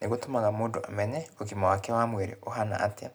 Nĩgũtũmaga mũndũ amenye ũgima wake wa mwĩrĩ ũhana atĩa,